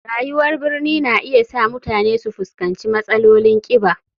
Rayuwar birni na iya sa mutane su fuskanci matsalolin kiba.